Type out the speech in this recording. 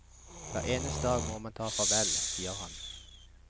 Hver eneste dag må man ta farvel, sier han.